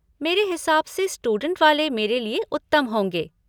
मेरे हिसाब से स्टूडेंट वाले मेरे लिए उत्तम होंगे।